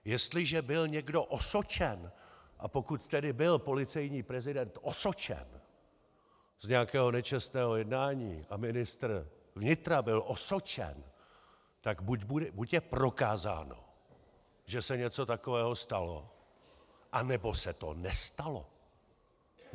Jestliže byl někdo osočen, a pokud tedy byl policejní prezident osočen z nějakého nečestného jednání a ministr vnitra byl osočen, tak buď je prokázáno, že se něco takového stalo, anebo se to nestalo.